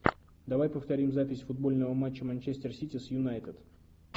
давай повторим запись футбольного матча манчестер сити с юнайтед